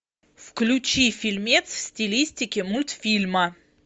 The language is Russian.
включи фильмец в стилистике мультфильма